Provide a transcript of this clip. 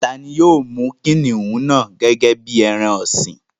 Tani yóò mú kìnìún náà gẹ́gẹ́ bí i ẹran ọ̀sìn?